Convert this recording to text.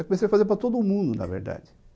Eu comecei a fazer para todo mundo, na verdade.